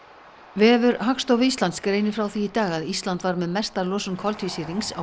vefur Hagstofu Íslands greinir frá því í dag að Ísland var með mesta losun koltvísýrings á